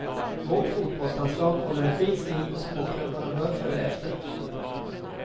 Vårt fotbollslandslag håller en fin stil och småklubbarna bör följa efter.